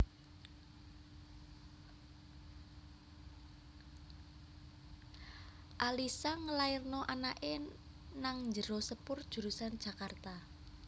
Alissa ngelairno anak e nang njero sepur jurusan Jakarta